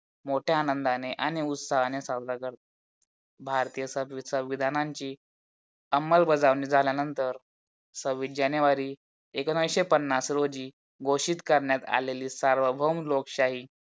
मोठ्या आनंदाने आणि उत्साहाने साजरा करतात. भारतीय संविधानची अंमल बजावणी झाल्यानंतर सव्वीस जानेवारी एकोणीशे पन्नास रोजी घोषित करणात आलेली सार्वभौम लोकशाही